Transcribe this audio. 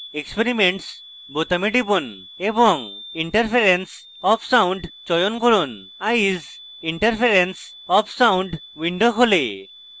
experiments বোতামে টিপুন এবং interference of sound চয়ন করুন eyes: interference of sound window খোলে